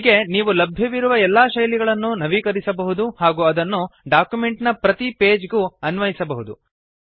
ಹೀಗೆ ನೀವು ಲಭ್ಯವಿರುವ ಎಲ್ಲಾ ಶೈಲಿಗಳನ್ನು ನವೀಕರಿಸಬಹುದು ಹಾಗೂ ಅದನ್ನು ಡಾಕ್ಯುಮೆಂಟ್ ನ ಪ್ರತಿ ಪೇಜ್ ಗೂ ಅನ್ವಯಿಸಬಹುದು